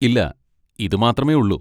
ഇല്ല, ഇത് മാത്രമേ ഉള്ളു.